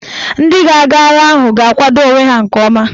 Ndị ga-aga agha ahụ ga-akwado onwe ha nke ọma